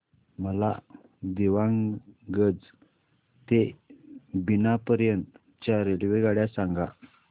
मला दीवाणगंज ते बिना पर्यंत च्या रेल्वेगाड्या सांगा